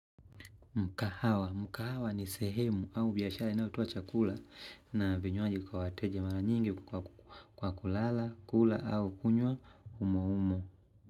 Mkahawa. Mkahawa ni sehemu au biashara inayotoa chakula na vinywaji kwa wateja mara nyingi kwa kulala, kula au kunywa umo umo.